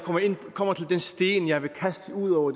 kommer til den sten jeg vil kaste ud over